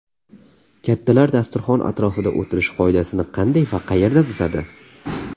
Kattalar dasturxon atrofida o‘tirish qoidasini qanday va qayerda buzadi?